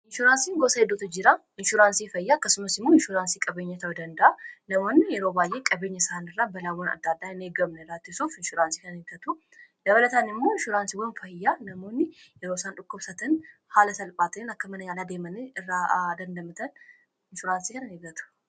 inshuuraansiin gosaa eddootuu jiraa inshuuraansii fayyaa akkasuumaas immoo inshuuraansii qabeenyaa ta'uu dandaa'a namoonni yeroo baay'ee qabeenya isaani irraa balaawwan addaa addaa inegamnee irriisuuf inshuuraansii kananiegaatuu dabalataan immoo inshuraansii nama fayyaa namoonni yeroo isaan dhukkubsatan haala salphaatan rakka mana yaalaa deemanii irraa dandamatan insuraansii kana in eggatu